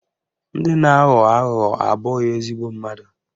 Ndị na-aghọ aghụghọ abụghị ezigbo mmadụ